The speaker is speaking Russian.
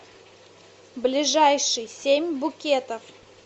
ближайший семь букетов